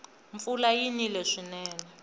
mpfula yi nile swinene